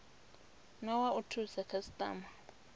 na wa u thusa khasitama